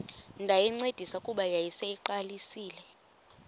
ndayincedisa kuba yayiseyiqalisile